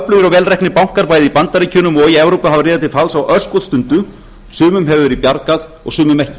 vel reknir bankar bæði í bandaríkjunum og í evrópu hafa riðað til falls á örskotsstundu sumum hefur verið bjargað og sumum ekki